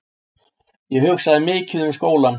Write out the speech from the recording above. Ég hugsaði mikið um skólann.